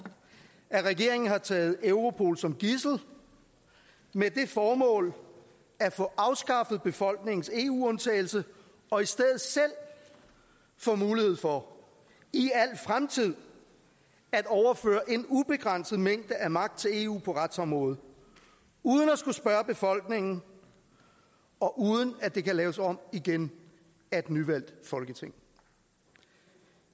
at regeringen har taget europol som gidsel med det formål at få afskaffet befolkningens eu undtagelse og i stedet selv få mulighed for i al fremtid at overføre en ubegrænset mængde af magt til eu på retsområdet uden at skulle spørge befolkningen og uden at det kan laves om igen af et nyvalgt folketing